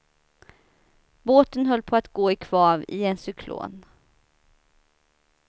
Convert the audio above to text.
Båten höll på att gå i kvav i en cyklon.